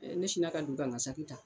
ne siina ka don ka ŋa saki ta